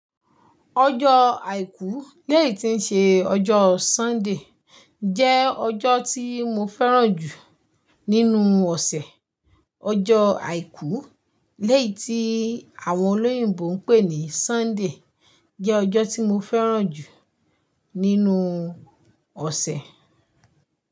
Ojó Àìkú léyí tí ń ṣe ọjọ́ Sunday, jẹ́ ọjọ́ tí mo fẹ́ràn jù nínú ọ̀sẹ̀. Ojó Àìkú léyí tí àwọn olóyìnbo ń pè ní Sunday, jẹ́ ọjọ́ tí mo fẹ́ràn jù nínú ọ̀sẹ̀